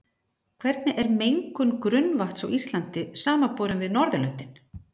Hvernig er mengun grunnvatns á Íslandi samanborið við Norðurlöndin?